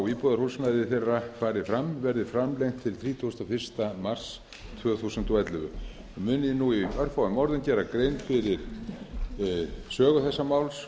íbúðarhúsnæði þeirra fari fram verði framlengt til þrítugasta og fyrsta mars tvö þúsund og ellefu ég mun nú í örfáum orðum gera grein fyrir sögu þessa máls